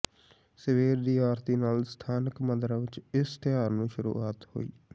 ਸਵੇਰ ਦੀ ਆਰਤੀ ਨਾਲ ਸਥਾਨਕ ਮੰਦਰਾਂ ਵਿੱਚ ਇਸ ਤਿਉਹਾਰ ਦੀ ਸ਼ੁਰੂਆਤ ਹੋਈ